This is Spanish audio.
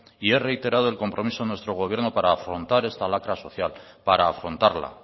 y he reiterado el compromiso de nuestro gobierno para afrontar esta lacra social para afrontarla